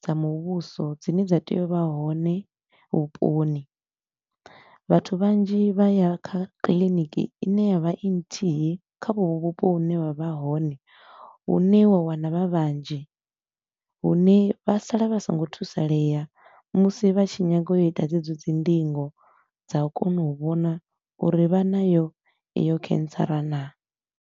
dza muvhuso dzine dza tea u vha hone vhuponi. Vhathu vhanzhi vha ya kha kiliniki i ne ya vha i nthihi kha vho vho vhupo hune vha vha hone, hune wa wana vha vhanzhi. Hune vha sala vha so ngo thusaleya musi vha tshi nyaga u ita dzedzo dzi ndingo dza u kona u vhona uri vha nayo i yo cancer naa.